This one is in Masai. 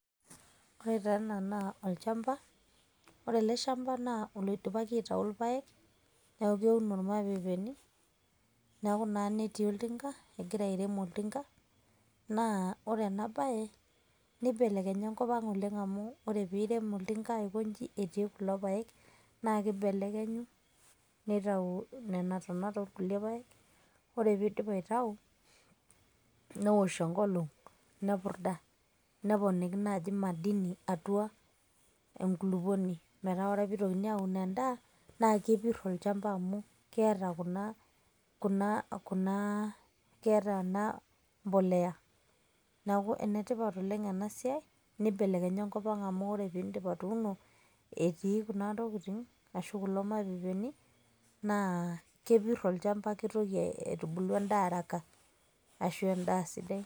ore taa ena naa olchampa, ore ele shampa naa oloidipaki aitaau irpaek neeku keuno irmapeepeni. neeku naa netii oltinka egira airem oltinka, naa ore ena bae neibelekenya enkop oleng amu, ore pee eorem oltinka aikoji etii kulo paek, naa kibelekenyu notau nena tonat oo kulie paek, ore pee eidip aitau neosh enkolong' nepurda. neponiki naaji madini atua enkulupuoni. metaa ore ake pee eitokini aun edaa, naa kepir olchampa amu keeta kuna. keeta enapoleya. neeku enetipat oleng ena siai. neibelekenya enkop ang amu ore pee iidip atuuno etii kuna tokitin. ashu kulo mapeepeni. naa kepir olchampa kitubulu edaa araka, ashu edaa sidai.